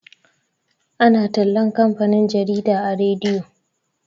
ana tallan kamfanin jarida a rediyo